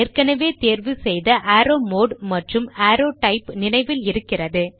ஏற்கனவே தேர்வு செய்த அரோவ் மோடு மற்றும் அரோவ் டைப் நினைவில் இருக்கிறது